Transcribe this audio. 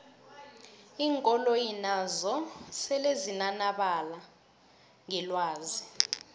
iinkoloyi nazo sele zinanabala ngelwazi